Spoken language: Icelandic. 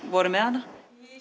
voru með hana